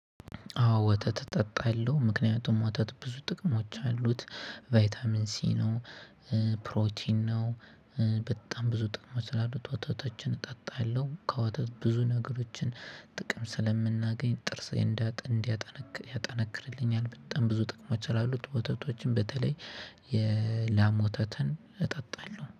አዎ ወተት እጠጣለሁ ምክንያቱም ወተት ብዙ ጥቅሞች አሉት። ቫይታሚን ሲ ነው። ፕሮቲን ነው። በጣም ብዙ ጥቅሞች አሉት ወተቶችን እጠጣለሁ። ከወተት ብዙ ነገሮችን ጥቅም ስለምናገኝ ጥርስ እንዲያጠነክር ያጠነክርልኛል በጣም ብዙ ጥቅሞች አሉት። ወተቶችም በተለይ የላም ወተተን እጠጣለሁ